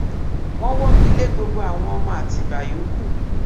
wọn wọ́gi lé gbogbo àwọn ọmọ àtìbà yòókù